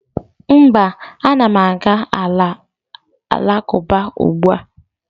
mba, a na m aga ala alakụba ugbua